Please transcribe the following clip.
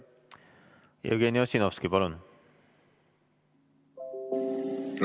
Jevgeni Ossinovski, palun!